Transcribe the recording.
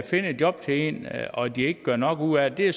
finde et job til en og de ikke gør nok ud af det